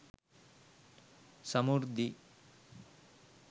samurdhi